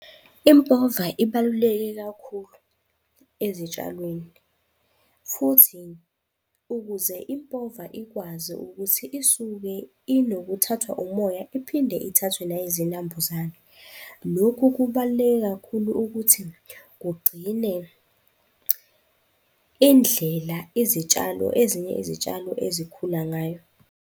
Impova ibaluleke kakhulu ezitshalweni futhi ukuze impova ikwazi ukuthi isuke, inokuthathwa umoya iphinde ithathwe neyezinambuzane. Lokhu kubaluleke kakhulu ukuthi kugcine indlela izitshalo, ezinye izitshalo ezikhula ngayo.